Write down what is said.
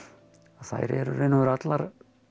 þær eru í raun og veru allar